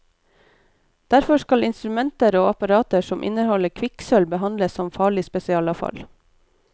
Derfor skal instrumenter og apparater som inneholder kvikksølv behandles som farlig spesialavfall.